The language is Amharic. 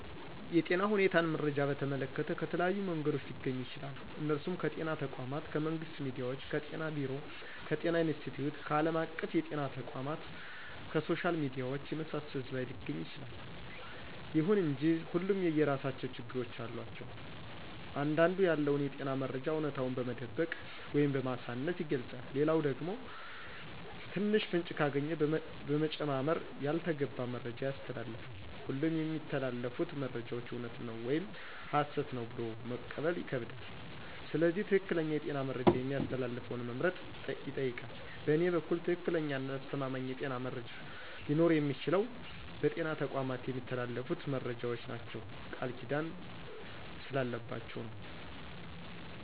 የጤና ሁኔታን መረጃን በተመለከተ ከተለያዩ መንገዶች ሊገኙ ይችላሉ እነሱም ከጤና ተቋማት :ከመንግስት ሚዲያዎች :ከጤና ቢሮ :ከጤና ኢንስትቲዮት :ከአለም አቀፍ የጤና ተቋማት :ከሶሻል ሚዲያዎች የመሳሰሉት ላይ ሊገኝ ይችላል። ይሁን እንጂ ሁሉም የየራሳቸው ችግሮች አሏቸው አንዳንዱ ያለውን የጤና መረጃ አውነታውን በመደበቅ ወይም በማሳነስ ይገልጻል ሌላኛው ደግሞ ትንሽ ፍንጭ ካገኘ በመጨማመር ያልተገባ መረጃ ያስተላልፋል ሁሉም የሚተላለፉት መረጃዎች እውነት ነው ወይም ሀሰት ነው ብሎ መቀበል ይከብዳል ስለዚህ ትክክለኛ የጤና መረጃ የሚያስተላልፈውን መምረጥ ይጠይቃል በእኔ በኩል ትክክለኛና አስተማማኝ የጤና መረጃ ሊኖረው የሚችለው በጤና ተቋማት የሚተላለፉት መረጃዎች ናቸው ቃልኪዳን ስላለባቸው ነው።